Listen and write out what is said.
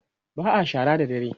ba'a shara da dare